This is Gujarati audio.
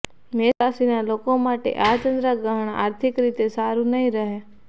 મેષ રાશિના લોકો માટે આ ચંદ્રગ્રહણ આર્થિક રીતે સારૂં નહીં રહે